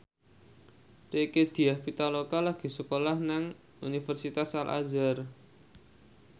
Rieke Diah Pitaloka lagi sekolah nang Universitas Al Azhar